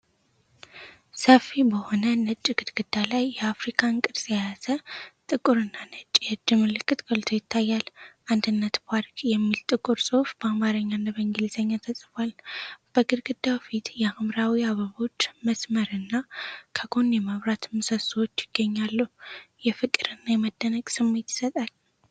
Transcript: ሰፊ በሆነ ነጭ ግድግዳ ላይ፣ የአፍሪካን ቅርጽ የያዘ ጥቁርና ነጭ የእጅ ምልክት ጎልቶ ይታያል። "አንድነት ፓርክ" የሚል ጥቁር ጽሑፍ በአማርኛና በእንግሊዝኛ ተጽፏል። በግድግዳው ፊት የሐምራዊ አበባዎች መስመርና ከጎን የመብራት ምሰሶዎች ይገኛሉ፤ የፍቅርና የመደነቅ ስሜት ይሰጣል።